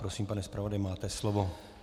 Prosím, pane zpravodaji, máte slovo.